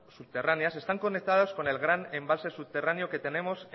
subterráneas están conectadas con el gran embalse subterráneo que tenemos